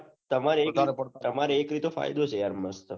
તમાર એક રીતે ફાયદો છે એમાં